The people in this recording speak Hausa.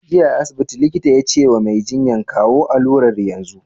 Jiya a asibiti, likita ya ce wa Mai jinyan "kawo alurar yanzu!